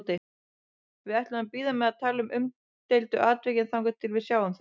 Við ætlum að bíða með að tala um umdeildu atvikin þangað til við sjáum þau.